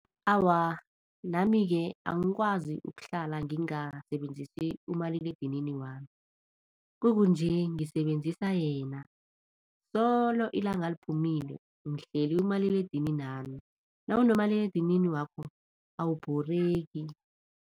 Awa, nami-ke angikwazi ukuhlala ngingasebenzisi umaliledinini wami, kukunje ngisebenzisa yena. Solo ilanga liphumile ngihleli kumaliledininami, nawunomaliledinini wakho awubhoreki.